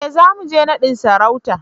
E, zamu je naɗin sarautar.